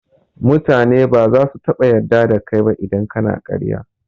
mutane baza su taɓa yadda da kai ba idan kana ƙarya